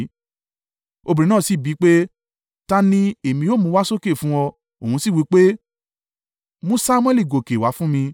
Obìnrin náà sì bi í pé, “Ta ni ẹ̀mí ó mú wá sókè fún ọ?” Òun sì wí pé, “Mú Samuẹli gòkè wá fún mi.”